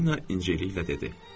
Polina incəliklə dedi.